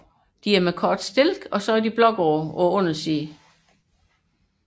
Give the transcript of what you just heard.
De er kortstilkede og med blågrå farve på undersiden